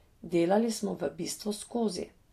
Delali smo v bistvu skozi.